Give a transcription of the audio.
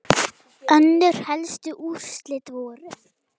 Önnur helstu úrslit voru